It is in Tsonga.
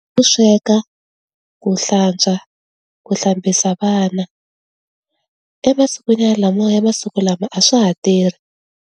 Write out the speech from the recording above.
Ku sweka, ku hlantswa, ku hlambisa vana. Emasikwini ya lamawa ya masiku lama a swa ha tirhi.